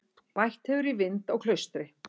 Bætt hefur í vind á Klaustri